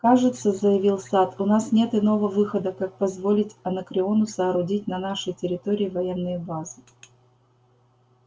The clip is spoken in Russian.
кажется заявил сатт у нас нет иного выхода как позволить анакреону соорудить на нашей территории военные базы